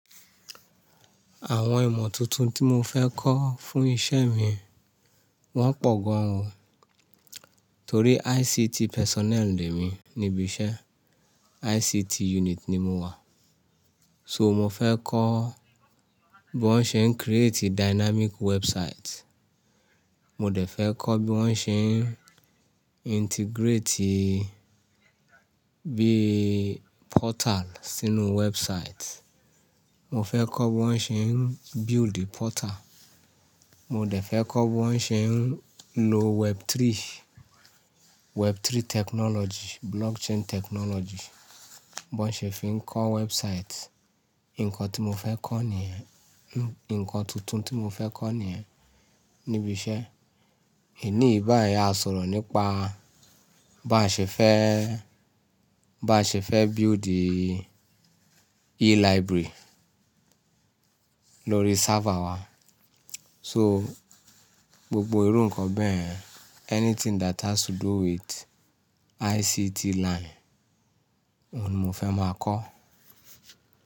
Àwọn ìmọ̀ tuntun tí mo fẹ́ kọ́ fún iṣẹ́ mi, wọ́n pọ̀ gan ò. Torí ICT personnel le mí níbi iṣẹ́, ICT unit ni mo wà. So mo fẹ́ kọ́ bí wọ́n ṣe ń create dynamic website. Mo dẹ̀ fẹ́ kọ́ bí wọ́n ṣe ń integrate bí portal sínú website. Mo fẹ́ kọ́ bí wọ́n ṣe ń build portal. Mo dẹ̀ fẹ́ kọ́ bí wọ́n ṣe ń lo web three, web three technology, blockchain technology, bó ṣe fi ń kọ́ website. Ǹkan tí mo fẹ́ kọ́ ní ẹ ǹkan tuntun tí mo fẹ́ kọ́ ní ẹ níbi iṣẹ́. Èní báyí a sọ̀rọ̀ nípa bá ń ṣe fẹ́, bá ṣe fẹ́ build e-library lórí server wa. So gbogbo irú ǹkan bẹ́ẹ̀, anything that has to do with ICT line, òun ni mo fẹ́ máa kọ́.